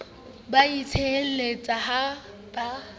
ba a tsieleha ha ba